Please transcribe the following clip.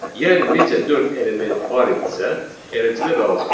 Yəni necə dörd element var idisə, eləcə də qalacaq.